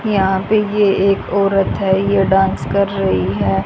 यहां पे ये एक औरत है ये डांस कर रही है।